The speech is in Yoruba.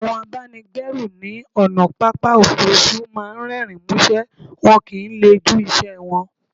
Àwọn abáni gbẹ́rù ní ònà pápá òfurufú máà ń rérìn músé, wọn kìí le jú iṣẹ wọn